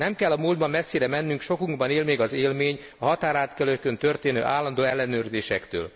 Nem kell a múltban messzire mennünk, sokunkban él még az élmény a határátkelőkön történő állandó ellenőrzésekről.